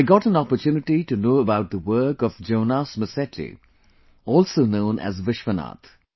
I got an opportunity to know about the work of Jonas Masetti, also known as Vishwanath